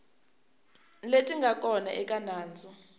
leti nga kona eka nandzu